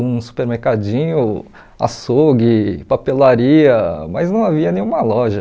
Um supermercadinho, açougue, papelaria, mas não havia nenhuma loja.